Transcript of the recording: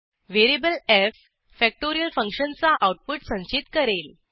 variable F factorial फंक्शनचा output संचित करेल